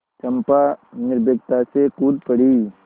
चंपा निर्भीकता से कूद पड़ी